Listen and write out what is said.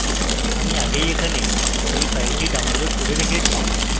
আমি আগেই এখানে এই file ডাউনলোড করে রেখেছি